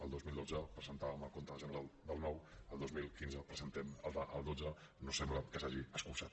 el dos mil dotze presentàvem el compte general del nou el dos mil quinze presentem el del dotze no sembla que s’hagi escurçat